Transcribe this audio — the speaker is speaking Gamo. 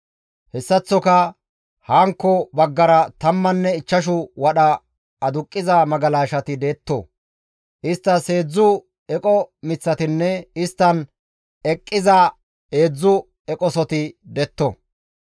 Hessaththoka hankko baggara tammanne ichchashu wadha aduqqiza magalashati detto; isttas heedzdzu eqo miththatinne isttan eqqiza heedzdzu eqosoti detto.